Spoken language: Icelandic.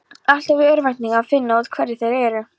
Alltaf í örvæntingu að finna út hvað þeir eru.